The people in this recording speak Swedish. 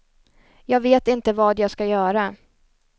Jag vet inte vad jag ska göra.